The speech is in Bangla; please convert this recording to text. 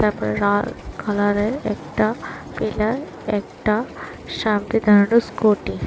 তারপরে রাল কালারের একটা পিলার একটা সামনে দাঁড়ানো স্কুটি ।